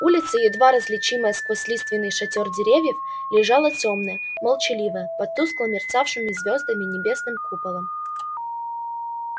улица едва различимая сквозь лиственный шатёр деревьев лежала тёмная молчаливая под тускло мерцавшим звёздами небесным куполом